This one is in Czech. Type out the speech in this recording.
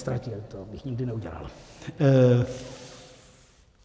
Neztratil, to bych nikdy neudělal.